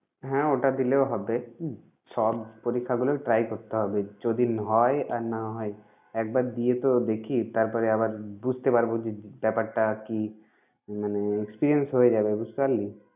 হ্যাঁ ওটা দিলেও হবে। সব পরীক্ষাগুলো try করতে হবে যদি হয় আর না হয় একবার দিয়ে তো দেখি তারপরে আবার বুঝতে পারব যে ব্যাপারটা কি মানে experience হয়ে যাবে বুঝতে পারলি?